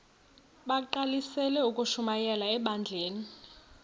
bagqalisele ukushumayela ebandleni